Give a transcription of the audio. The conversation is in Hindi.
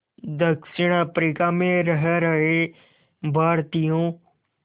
दक्षिण अफ्रीका में रह रहे भारतीयों